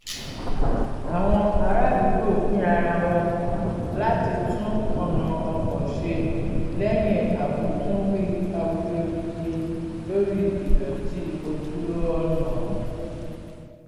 àwọn ará àdúgbò pín ara wọn láti tún ọ̀nà ọkọ̀ ṣe lẹ́yìn awitunwi awuyewuye lórí ìdọ̀tí ojú ọ̀nà